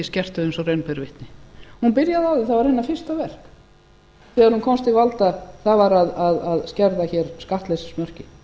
og raun ber vitni hún byrjaði á því það var hennar fyrsta verk þegar hún komst til valda það var að skerða hér skattleysismörkin